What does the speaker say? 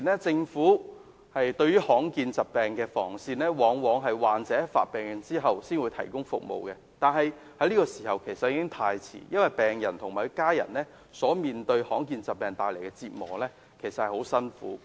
政府目前應對於罕見疾病的防線，往往只是患者病發後才提供服務，但那已經太遲，因為病人及其家人所面對罕見疾病帶來的折磨，其實非常痛苦。